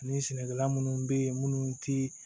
Ni sɛnɛkɛla munnu bɛ ye munnu ti